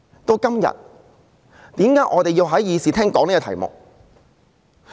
到今天，為何我們要在議事廳內討論這題目？